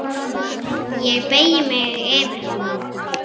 Ég beygi mig yfir hana.